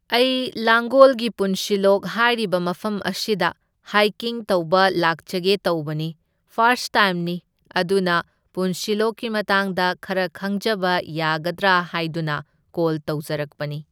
ꯑꯩ ꯂꯥꯡꯒꯣꯜꯒꯤ ꯄꯨꯟꯁꯤꯂꯣꯛ ꯍꯥꯏꯔꯤꯕ ꯃꯐꯝ ꯑꯁꯤꯗ ꯍꯥꯏꯀꯤꯡ ꯇꯧꯕ ꯂꯥꯛꯆꯒꯦ ꯇꯧꯕꯅꯤ, ꯐꯥꯔꯁ ꯇꯥꯏꯝꯅꯤ, ꯑꯗꯨꯅ ꯄꯨꯟꯁꯤꯂꯣꯛꯀꯤ ꯃꯇꯥꯡꯗ ꯈꯔ ꯈꯪꯖꯕ ꯌꯥꯒꯗ꯭ꯔꯥ ꯍꯥꯏꯗꯨꯅ ꯀꯣꯜ ꯇꯧꯖꯔꯛꯄꯅꯤ꯫